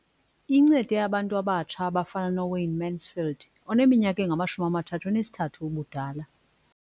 Incede abantu abatsha abafana noWayne Mansfield oneminyaka engama-33 ubudala.